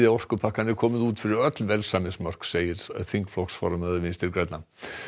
orkupakkann er komið út fyrir öll velsæmismörk segir þingflokksformaður Vinstri grænna